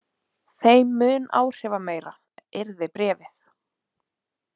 Þeim mun áhrifameira yrði bréfið.